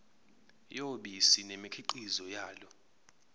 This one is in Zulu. yobisi nemikhiqizo yalo